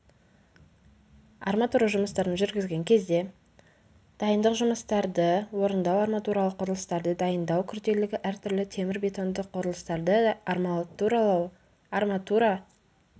арматура жұмыстарын жүргізген кезде дайындық жұмыстарды орындау арматуралық құрылыстарды дайындау күрделілігі әртүрлі темір-бетонды құрылыстарды арматуралау арматура